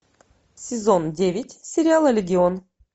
сезон девять сериала легион